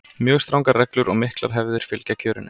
mjög strangar reglur og miklar hefðir fylgja kjörinu